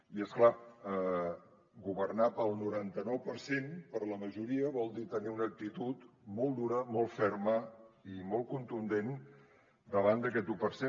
i és clar governar per al noranta nou per cent per a la majoria vol dir tenir una actitud molt dura molt ferma i molt contundent davant d’aquest un per cent